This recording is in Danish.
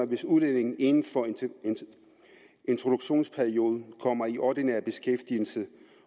hvis udlændingen inden for introduktionsperioden kommer i ordinær beskæftigelse